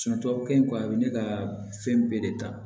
tubabukan a be ne ka fɛn bɛɛ de ta